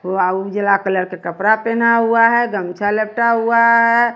वह उजला कलर का कपड़ा पाना हुआ है गमछा लपेटा हुआ है।